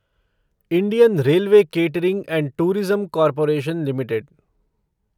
Indian railway catering and tourism corporation limited